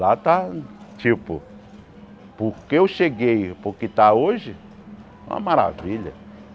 Lá está, tipo, porque eu cheguei, porque está hoje, uma maravilha.